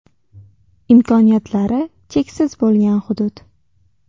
Imkoniyatlari cheksiz bo‘lgan hudud.